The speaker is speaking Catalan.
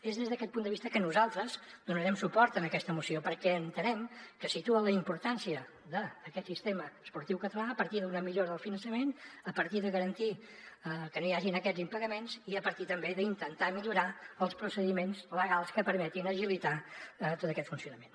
és des d’aquest punt de vista que nosaltres donarem suport a aquesta moció perquè entenem que situa la importància d’aquest sistema esportiu català a partir d’una millora del finançament a partir de garantir que no hi hagin aquests impagaments i a partir també d’intentar millorar els procediments legals que permetin agilitar tot aquest funcionament